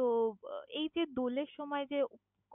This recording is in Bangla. তহ আহ এই যে দলের সময় যে